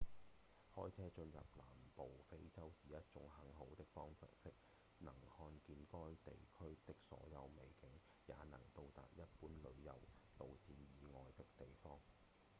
開車進入南部非洲是一種很好的方式能看見該地區的所有美景也能到達一般旅遊路線以外的地方